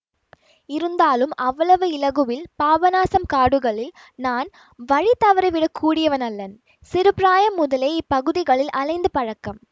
இருந்தாலும் அவ்வளவு இலகுவில் பாபநாசம் காடுகளில் நான் வழி தவறிவிடக் கூடியவனல்லன் சிறு பிராயம் முதலே இப்பகுதிகளில் அலைந்து பழக்கம்